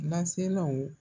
Na